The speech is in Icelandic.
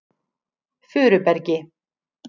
Furubergi